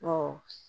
Ɔ